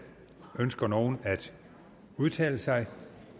ønsker nogen at udtale sig